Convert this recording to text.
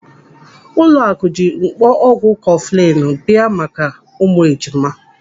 Ụlọaku ji mkpọ ọgwụ kọfụlinu abụọ bịa maka ụmụ ejima.